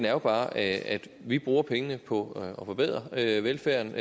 er bare at vi bruger pengene på at forbedre velfærden